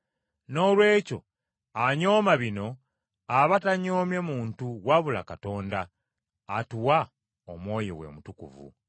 Noolwekyo anyooma bino aba tanyoomye muntu wabula Katonda, atuwa Omwoyo we Omutukuvu.